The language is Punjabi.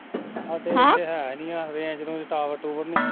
ਸਾਡੇ ਹਮ ਹੇਥੇ ਹੈ ਈ ਨੀ ਐ range ਰੂਜ tower ਟ੍ਊਵਰ ਨੀ ਹੁਣ